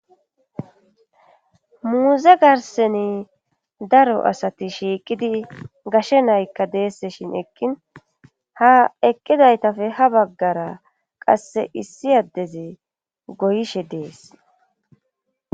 Muuze garseni daro asati shiiqidi gashe naykka deesse shin eqqin ha eqqidaytafe ha baggara qasse issi addezi goyishe dees.